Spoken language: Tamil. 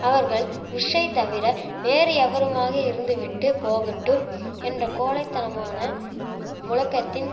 அவர்கள் புஷ்ஷை தவிர வேறு எவருமாக இருந்துவிட்டு போகட்டும் என்ற கோழை தனமான முழக்கத்தின்